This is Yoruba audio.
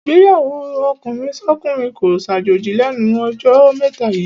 Ìgbéyàwó ọkùnrinsọ́kùnrin kó ṣàjòjì lẹ́nu jọ́ mẹ́ta yíì.